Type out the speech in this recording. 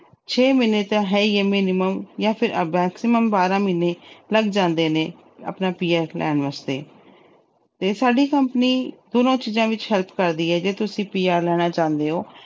ਛੇ ਮਹੀਨੇ ਤਾਂ ਹੈ ਹੀ minimum ਜਾਂ ਫਿਰ maximum ਬਾਰ੍ਹਾਂ ਮਹੀਨੇ ਲੱਗ ਜਾਂਦੇ ਨੇ ਆਪਣਾ PR ਲੈਣ ਵਾਸਤੇ ਤੇ ਸਾਡੀ company ਦੋਨਾਂ ਚੀਜਾਂ ਵਿੱਚ help ਕਰਦੀ ਆ ਜੇ ਤੁਸੀਂ PR ਲੈਣਾ ਚਾਹੁੰਦੇ ਓ।